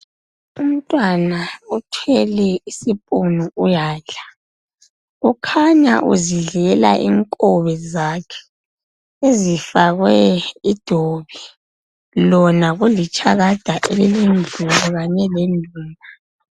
Umntwana othwele isiphinu uyandla. Ukhanya uzundlela inkobe zakhe ezifakwe idobi. Lona kulirshakada elilendlu kanye ledumba.